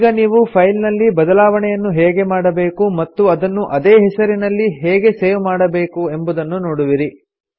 ಈಗ ನೀವು ಫೈಲ್ ನಲ್ಲಿ ಬದಲಾವಣೆಯನ್ನು ಹೇಗೆ ಮಾಡಬೇಕು ಮತ್ತು ಅದನ್ನು ಅದೇ ಹೆಸರಿನಲ್ಲಿ ಹೇಗೆ ಸೇವ್ ಮಾಡಬೇಕೆಂಬುದನ್ನು ನೋಡುವಿರಿ